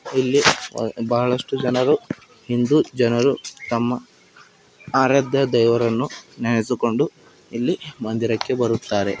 ಇಲ್ಲಿ ಬಹಳಷ್ಟು ಜನರು ಹಿಂದೂ ಜನರು ತಮ್ಮ ಆರಾಧ್ಯ ದೇವರನ್ನು ನೆನೆಸಿಕೊಂಡು ಇಲ್ಲಿ ಮಂದಿರಕ್ಕೆ ಬರುತ್ತಾರೆ.